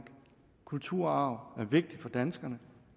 kulturarv er vigtig for danskerne